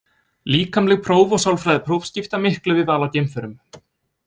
Líkamleg próf og sálfræðipróf skipta miklu við val á geimförum.